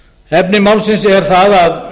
efni málsins er það að